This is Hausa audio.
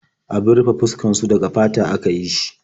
Abun rufe fuskar su daga fata aka yi shi.